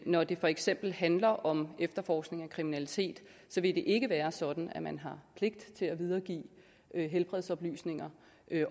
når det for eksempel handler om efterforskning af kriminalitet så vil det ikke være sådan at man har pligt til at videregive helbredsoplysninger